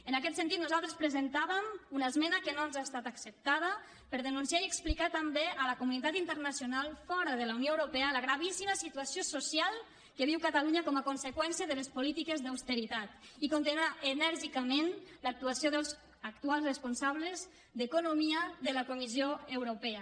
en aquest sentit nosaltres presentàvem una esmena que no ens ha estat acceptada per denunciar i explicar també a la comunitat internacional fora de la unió europea la gravíssima situació social que viu catalunya com a conseqüència de les polítiques d’austeritat i condemnar enèrgicament l’actuació dels actuals responsables d’economia de la comissió europea